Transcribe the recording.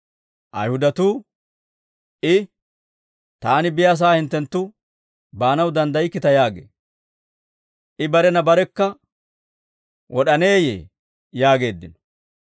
Ayihudatuu, «I, ‹Taani biyaasaa hinttenttu baanaw danddaykkita› yaagee; I barena barekka wod'aneeyye?» yaageeddino.